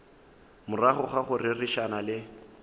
morago ga go rerišana le